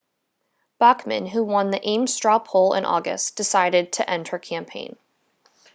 bachmann who won the ames straw poll in august decided to end her campaign